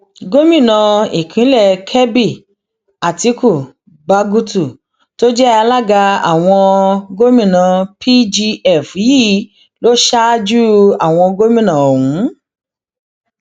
gómìnà ìpínlẹ kebbi àtiku bagutu tó jẹ alága àwọn gòmìnà pgf yìí ló ṣáájú àwọn gómìnà ọhún